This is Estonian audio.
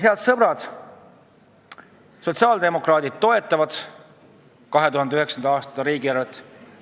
Head sõbrad, sotsiaaldemokraadid toetavad 2019. aasta riigieelarvet.